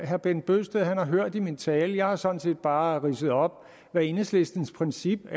herre bent bøgsted har hørt i min tale jeg har sådan set bare ridset op hvad enhedslistens princip